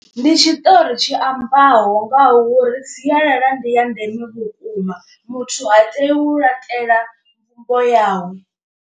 Ndi tshiṱori tshi ambaho ngauri sialala ndi ya ndeme vhukuma, muthu ha tei u laṱela mbumbo yawe.